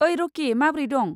ओइ, रकि। माब्रै दं?